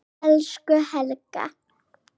Elsku Helga.